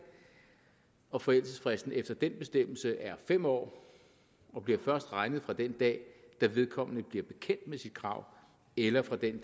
og forældelsesfristen efter den bestemmelse er fem år og bliver først regnet fra den dag hvor vedkommende bliver bekendt med sit krav eller fra den